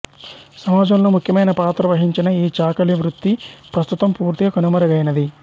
సమాజంలో ముఖ్యమైన పాత్ర వహించిన ఈ చాకలి వృత్తి ప్రస్తుతం పూర్తిగా కనుమరుగైనది